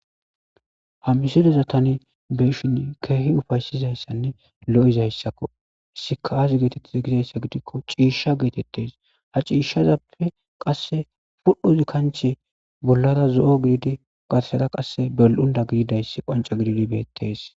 ha misileza tani beeshin keehi ufaysizayssanne lo7izayssakko izzika aazi geetettiza gizayssa gidikko ciisha geetettes ha ciishshazappe qasse pudhuz kanche bollara zo7o giidi garseda qasse bel7unda giidayssi qanca gididi beettes